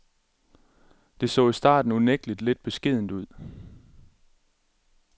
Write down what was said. Det så i starten unægtelig lidt beskedent ud.